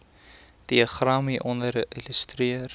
diagram hieronder illustreer